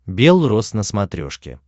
бел рос на смотрешке